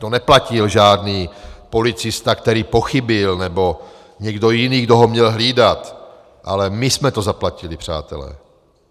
To neplatil žádný policista, který pochybil, nebo někdo jiný, kdo ho měl hlídat, ale my jsme to zaplatili, přátelé!